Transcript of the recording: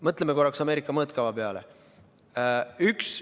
Mõtleme korraks Ameerika mõõtkava peale!